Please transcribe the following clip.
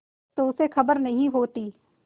तो उसे खबर नहीं होती